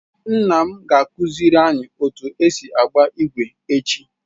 Nna m ga akụziri anyi otu esi agba igwe echi.